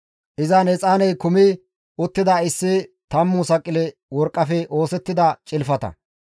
Izan exaaney kumi uttida issi tammu saqile worqqafe oosettida cilfata,